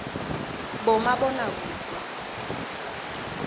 bomabonakudze